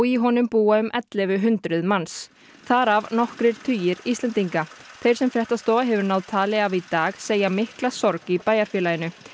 í honum búa um ellefu hundruð manns þar af nokkrir tugir Íslendinga þeir sem fréttastofa hefur náð tali af í dag segja mikla sorg í bæjarfélaginu